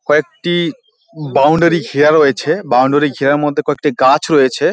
কয়েকটি বাউন্ডারি ঘেরা রয়েছে বাউন্ডারি ঘেরার মধ্যে কয়েকটি গাছ রয়েছে।